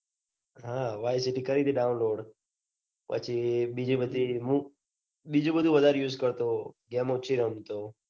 હા વાયસીટી કરી તી. download પછી બીજી બધી મુ બીજું બધું વધારે એ use કરતો ગેમ ઓછી રમતો.